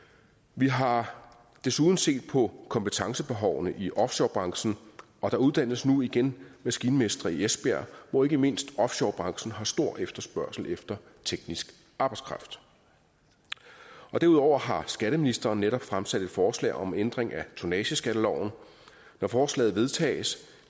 vi har desuden set på kompetencebehovene i offshorebranchen og der uddannes nu igen maskinmestre i esbjerg hvor ikke mindst offshorebranchen har stor efterspørgsel efter teknisk arbejdskraft derudover har skatteministeren netop fremsat et forslag om ændring af tonnageskatteloven når forslaget vedtages